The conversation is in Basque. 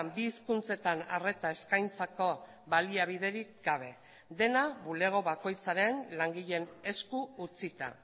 bi hizkuntzetan arreta eskaintzako baliabiderik gabe dena bulego bakoitzaren langileen esku utzita